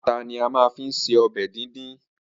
Ata ni a ma fi ṣe ọbẹ̀ díndín.